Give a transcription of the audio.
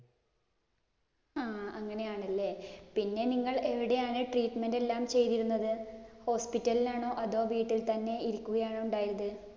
ആ അങ്ങനെയാണ് അല്ലേ? പിന്നെ നിങ്ങൾ എവിടെയാണ് treatment എല്ലാം ചെയ്തിരുന്നത്? hospital ഇല്‍ ആണോ, അതോ വീട്ടില്‍ തന്നെ ഇരിക്കുകയാണോ ഉണ്ടായത്?